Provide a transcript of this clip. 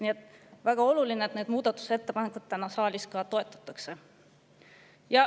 Nii et on väga oluline, et neid muudatusettepanekuid täna saalis toetatakse.